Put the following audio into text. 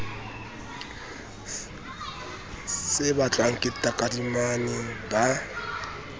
se batlwang ke takadimane ba